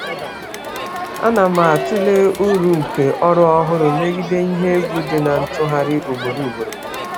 Ana m atụle uru nke ọrụ ọhụrụ megide ihe egwu nke mgbanwe ugboro ugboro.